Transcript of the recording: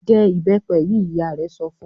"Jẹ ìbẹ́pẹ yìí!" Ìyá rẹ̀ sọ fun.